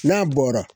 N'a bɔra